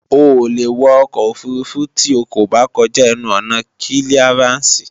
O ò lè wọ ọkọ̀ òfurufú tí o kò bá kọjá ẹnu ọ̀nà kílíarànsì